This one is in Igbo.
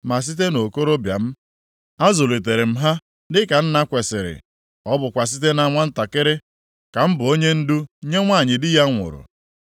ma site nʼokorobịa m, azụlitere m ha dịka nna kwesiri, ọ bụkwa site na nwantakịrị ka m bụ onyendu nye nwanyị di ya nwụrụ.